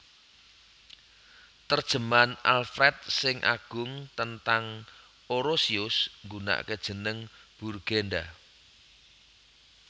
Terjemahan Alfred sing Agung tentang Orosius nggunake jeneng Burgenda